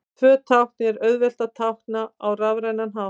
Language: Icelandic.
Tvö tákn er auðvelt að tákna á rafrænan hátt.